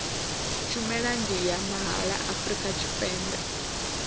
tshumelo ndi ya mahala afrika tshipembe